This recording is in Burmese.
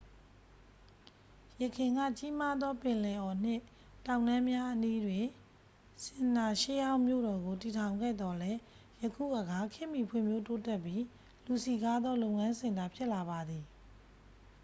ယခင်က ကြီးမားသော ပင်လယ်အော်နှင့် တောင်တန်းများအနီးတွင် ဆင်မ်နာ ရှေးဟောင်းမြို့တော်ကို တည်ထောင်ခဲ့သော်လည်း ယခုအခါ ခေတ်မီဖွံ့ဖြိုးတိုးတက်ပြီး လူစည်ကားသော လုပ်ငန်းစင်တာ ဖြစ်လာပါသည်